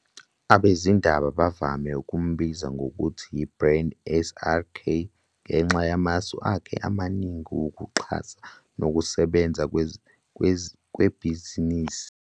Abezindaba bavame ukumbiza ngokuthi "yiBrand SRK" ngenxa yamasu akhe amaningi wokuxhasa nokusebenza kwebhizinisi.